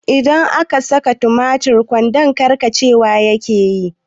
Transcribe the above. In akasa tumatir a kwando karcewa yake